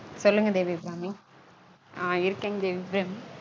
அஹ் இருக்கீங்க தேவிஅபிராமி சொல்லுங்க தேவி அபிராமி